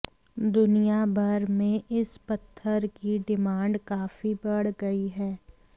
दुनियाभर में इस पत्थर की डिमांड काफी बढ़ गयी है